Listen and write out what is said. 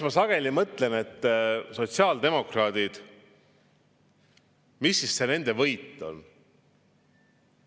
Ma sageli mõtlen, mis see sotsiaaldemokraatide võit on.